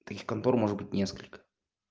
таких контор может быть несколько